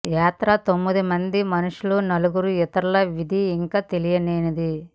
యాత్ర తొమ్మిది మంది మనుషులు నాలుగు ఇతరుల విధి ఇంకా తెలియలేదని